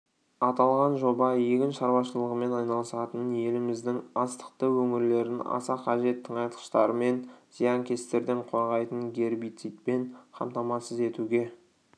аталған жоба егін шаруашылығымен айналысатын еліміздің астықты өңірлерін аса қажет тыңайтқыштармен зиянкестерден қорғайтын гербицидпен қамтамасыз етуге